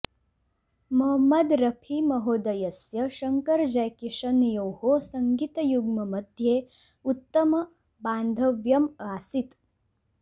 मोहम्मद रफी महोदयस्य शङ्करजैकिशनयोः सङ्गीतयुग्ममध्ये उत्तम बान्धव्यम् आसीत्